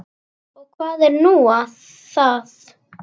Og hvað er nú það?